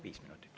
Viis minutit.